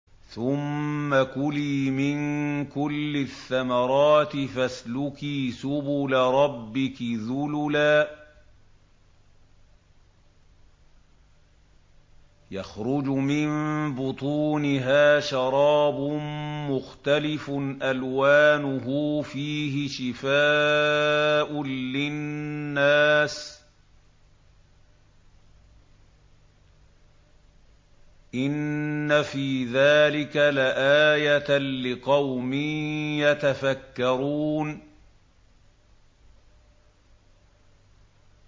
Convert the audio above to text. ثُمَّ كُلِي مِن كُلِّ الثَّمَرَاتِ فَاسْلُكِي سُبُلَ رَبِّكِ ذُلُلًا ۚ يَخْرُجُ مِن بُطُونِهَا شَرَابٌ مُّخْتَلِفٌ أَلْوَانُهُ فِيهِ شِفَاءٌ لِّلنَّاسِ ۗ إِنَّ فِي ذَٰلِكَ لَآيَةً لِّقَوْمٍ يَتَفَكَّرُونَ